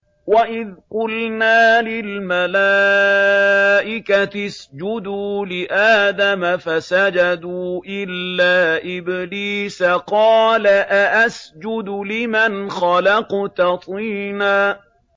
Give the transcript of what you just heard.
وَإِذْ قُلْنَا لِلْمَلَائِكَةِ اسْجُدُوا لِآدَمَ فَسَجَدُوا إِلَّا إِبْلِيسَ قَالَ أَأَسْجُدُ لِمَنْ خَلَقْتَ طِينًا